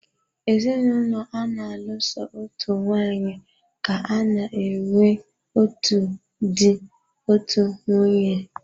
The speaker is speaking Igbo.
Ezinụlọ ana-alụ so otu nwaanyị ka-ana enwe otu dị, otú nwunye.